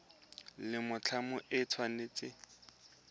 la mothale o le tshwanetse